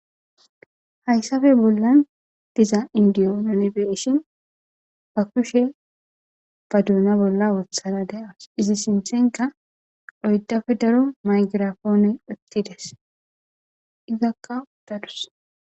Hayssape bollan diza indiyo nuni beshin ba kushe ba duuna bolla wothada de7as izi simthenka oydafe daro maykirafoone uttides izakka uddadus.